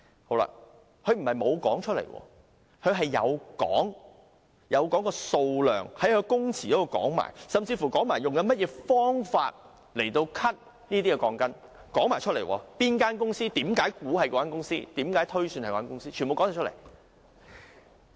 潘先生不是沒有說出來，他有說出數量，在供詞中說了，甚至說明用甚麼方法剪短那些鋼筋，是哪間公司所為，他為何猜想是該公司，全部都有說出來。